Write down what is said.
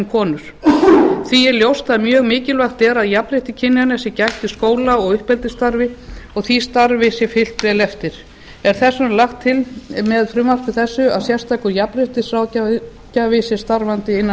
konur því er ljóst að mjög mikilvægt er að jafnréttis kynjanna sé gætt í skóla og uppeldisstarfi og því starfi sé fylgt vel eftir er þess vegna lagt til með frumvarpi þessu að sérstakur jafnréttisráðgjafi sé starfandi innan